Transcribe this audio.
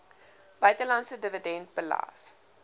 buitelandse dividend belas